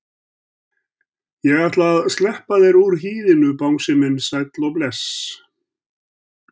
Ég ætla að sleppa þér úr hýðinu bangsi minn sæll og bless.